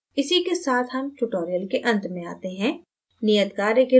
इसी के साथ हम tutorial के अंत में आते हैं नियतकार्य के रूप में